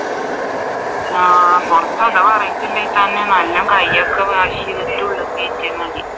ആഹ് പുറത്ത് അഥവാ ഇറങ്ങിയിട്ടുണ്ടെങ്കിൽ തന്നെ നല്ലം കയ്യൊക്കെ wash ചെയ്തിട്ട് ഉള്ളിൽ കേറ്റിയാൽ മതി